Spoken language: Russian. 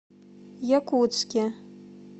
якутске